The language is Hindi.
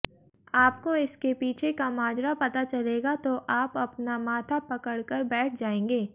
आपको इसके पीछे का माजरा पता चलेगा तो आप अपना माथा पकड़ कर बैठ जाएंगे